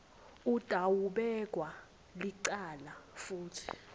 utawubekwa licala futsi